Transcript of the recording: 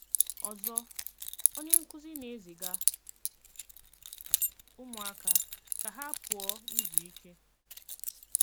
Ọzọ, onye nkúzí ná-ézígá úmụáka ká ha pụọ ízú íké.